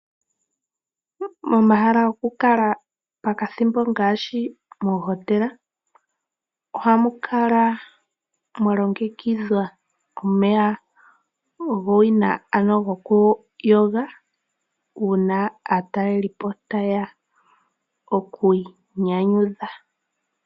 Momahala gokukala pakathimbo ngaashi moohotela ohamu kala mwa longekidhwa omeya gowina gokuyoga uuna aatalelipo taye ya oku inyanyudha.